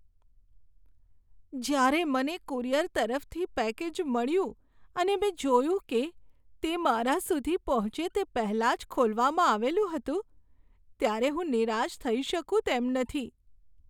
જ્યારે મને કુરિયર તરફથી પેકેજ મળ્યું અને મેં જોયું કે તે મારા સુધી પહોંચે તે પહેલાં જ ખોલવામાં આવેલું હતું ત્યારે હું નિરાશ થઈ શકું તેમ નથી.